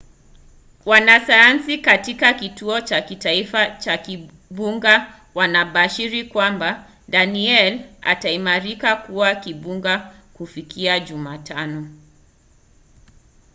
wanasayansi katika kituo cha kitaifa cha vimbunga wanabashiri kwamba danielle itaimarika kuwa kimbunga kufikia jumatano